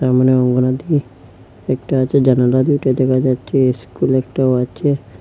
মনে হয় অঙ্গনাদি একটা আছে জানালা দুইটা দেখা যাচ্ছে স্কুল একটাও আছে।